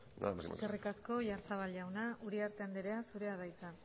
nada más y muchas gracias eskerrik asko oyarzabal jauna uriarte andrea zurea da hitza